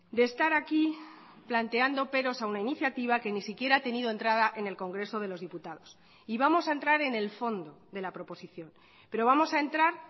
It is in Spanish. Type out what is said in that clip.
de estar aquí planteando peros a una iniciativa que ni siquiera ha tenido entrada en el congreso de los diputados y vamos a entrar en el fondo de la proposición pero vamos a entrar